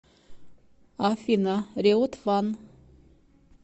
афина риот ван